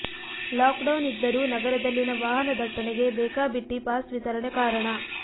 lock down ಇದ್ದರೂ ನಗರದಲ್ಲಿನ ವಾಹನದಟ್ಟಣೆಗೆ ಬೇಕಾಬಿಟ್ಟಿ ಪಾಸ್ ವಿತರಣೆ ಕಾರಣ